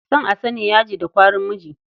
Son a sani, yaji da kwarin miji.